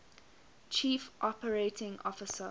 chief operating officer